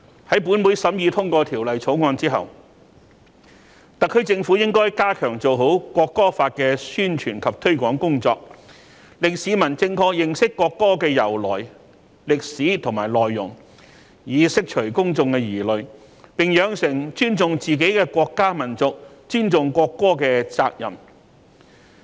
在本會審議通過《條例草案》之後，特區政府應該加強做好《條例草案》的宣傳及推廣工作，令市民正確認識國歌的由來、歷史和內容，以釋除公眾疑慮，並養成尊重自己國家民族、尊重國歌的責任。